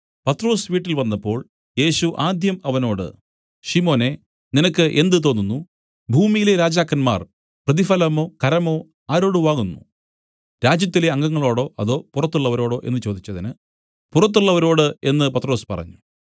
പത്രൊസ് വീട്ടിൽ വന്നപ്പോൾ യേശു ആദ്യം അവനോട് ശിമോനേ നിനക്ക് എന്ത് തോന്നുന്നു ഭൂമിയിലെ രാജാക്കന്മാർ പ്രതിഫലമോ കരമോ ആരോട് വാങ്ങുന്നു രാജ്യത്തിലെ അംഗങ്ങളോടോ അതോ പുറത്തുള്ളവരോടോ എന്നു ചോദിച്ചതിന് പുറത്തുള്ളവരോട് എന്നു പത്രൊസ് പറഞ്ഞു